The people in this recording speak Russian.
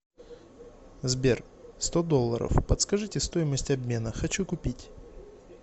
сбер сто долларов подскажите стоимость обмена хочу купить